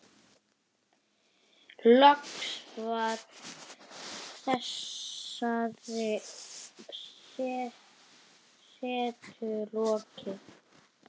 Loks var þessari setu lokið.